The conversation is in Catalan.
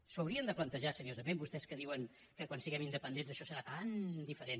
s’ho haurien de plantejar seriosament vostès que diuen que quan siguem independents això serà tan diferent